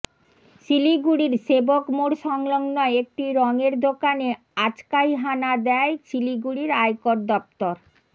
শিলিগুড়ির সেবক মোড় সংলগ্ন একটি রঙের দোকানে আচকাই হানা দেয় শিলিগুড়ির আয়কর দফতর